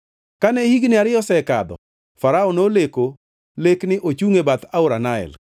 Kane higni ariyo osekadho, Farao noleko lekni ochungʼ e bath aora Nael,